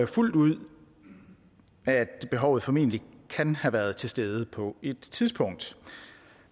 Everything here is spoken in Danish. fuldt ud at behovet formentlig kan have været til stede på et tidspunkt